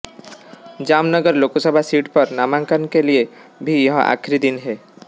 जामनगर लोकसभा सीट पर नामांकन के लिए भी यह आखिरी दिन है